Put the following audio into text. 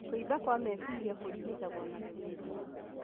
Kũimba kwa meciria kũrigitagwo na gũthĩnjwo